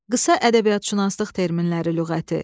Qısa ədəbiyyatşünaslıq terminləri lüğəti.